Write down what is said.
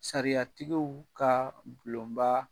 Sariyatigiw ka bulonba